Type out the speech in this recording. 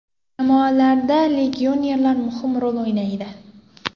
Jamoalarda legionerlar muhim rol o‘ynaydi.